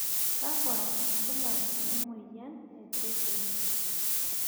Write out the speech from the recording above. kakua irbulabol le moyian e threatening?